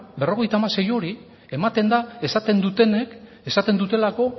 berrogeita hamasei hori ematen da esaten dutenek esaten dutelako